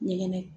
Ɲɛgɛn